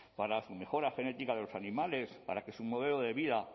para su mejora genética de los animales para que su modelo de vida